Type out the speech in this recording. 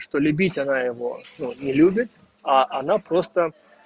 что любить она его ну не любит а она просто